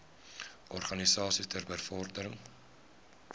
organisasies ter bevordering